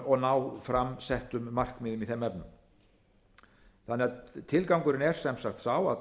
og ná fram settum markmiðum í þeim efnum tilgangurinn er sem sagt sá að